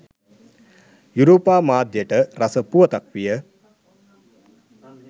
යුරෝපා මාධ්‍යට රස පුවතක් විය